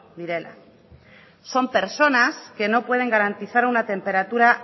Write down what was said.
direla son personas que no pueden garantizar una temperatura